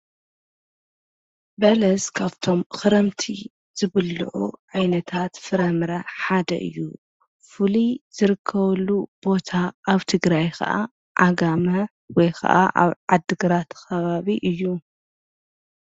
በለስ ካብቶም ኽረምቲ ዝብልዑ ዓይነታት ፍረምረ ሓደ እዩ፡፡ ፍሉይ ዝርከበሉ ቦታ ኣብ ትግራይ ኸዓ ዓጋማ ወይ ኸዓ ኣብ ዓዲግራት ኸባቢ እዩ፡፡